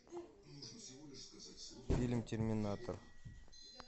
фильм терминатор